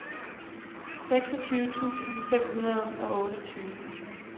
seksogtyve tusind fem hundrede og otteogtyve